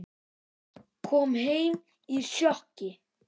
Kom heim í sjokki.